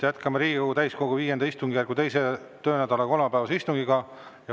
Jätkame Riigikogu täiskogu V istungjärgu 2. töönädala kolmapäevast istungit.